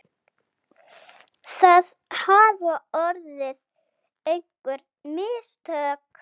Það hafa orðið einhver mistök!